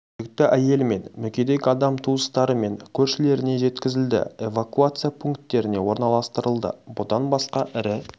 жүкті әйел мен мүгедек адам туыстары мен көршілеріне жеткізілді эвакуация пунктеріне орналастырылды бұдан басқа ірі